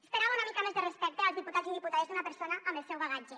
esperava una mica més de respecte als diputats i diputades d’una persona amb el seu bagatge